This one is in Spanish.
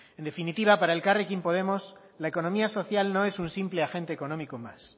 en definitiva para elkarrekin podemos la economía social no es un simple agente económico más